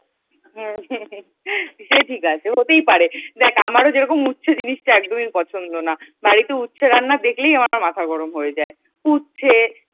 হম হম হম সে ঠিক আছে, হতেই পারে । দেখ যেরকম আমারও উচ্ছে জিনিসটা একদমই পছন্দ না। বাড়িতে উচ্ছে রান্না দেখলেই আমার মাথা গরম হয়ে যায়। উচ্ছে